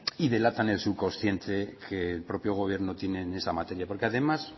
y delatan el subconsciente que el propio gobierno tiene en esa materia porque además